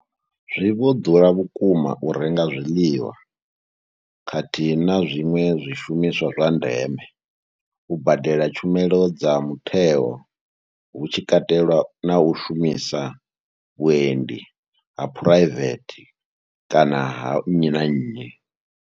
Zwi vho ḓura vhukuma u renga zwiḽiwa khathihi na zwiṅwe zwishumiswa zwa ndeme, u badela tshumelo dza mutheo hu tshi katelwa na u shumisa vhuendi ha phuraivethe kana ha nnyi na nnyi.